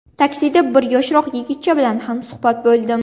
Taksida bir yoshroq yigitcha bilan hamsuhbat bo‘ldim.